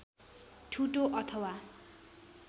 ठुटो अथवा